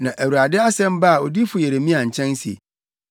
Na Awurade asɛm baa odiyifo Yeremia nkyɛn se,